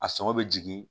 A sɔngɔ bɛ jigin